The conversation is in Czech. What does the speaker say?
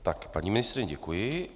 Tak, paní ministryně, děkuji.